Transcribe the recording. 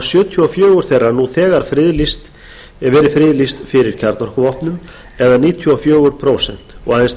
sjötíu og fjögur þeirra nú þegar verið friðlýst fyrir kjarnorkuvopnum eða níutíu og fjögur prósent og aðeins